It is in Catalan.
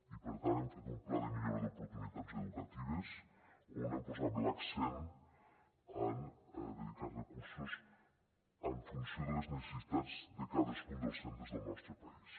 i per tant hem fet un pla de millora d’oportunitats educatives on hem posat l’accent en dedicar recursos en funció de les necessitats de cadascun dels centres del nostre país